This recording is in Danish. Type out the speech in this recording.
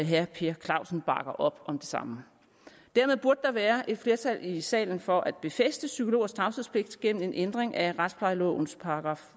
herre per clausen bakker op om det samme dermed burde der være et flertal i salen for at befæste psykologers tavshedspligt gennem en ændring af retsplejelovens §